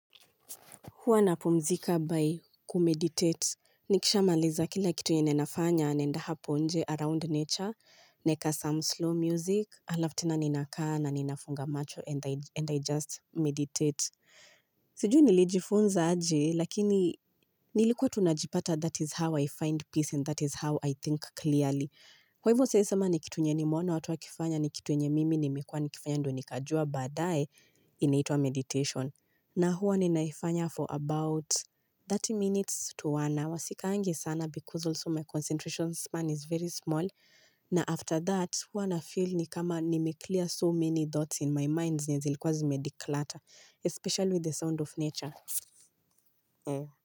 Huwa napumzika by kumeditate. Nikisha maliza kila kitu yenye ninafanya naenda hapo nje around nature, naeka some slow music, alafu tena ninakaa na ninafunga macho and I just meditate. Sijui nilijifunza aje, lakini nilikuwa tu najipata that is how I find peace and that is how I think clearly. Kwa hivyo siezi sema nikitu yenye nimeona watu wakifanya nikitu yenye mimi nimekuwa nikifanya ndo nikajua baadae inaitwa meditation na huwa ninaifanya for about 30 minutes to one hour sikaangi sana because also my concentration span is very small na after that huwa na feel ni kama nime clear so many thoughts in my mind zenye zilikuwa zimedeclutter especially with the sound of nature.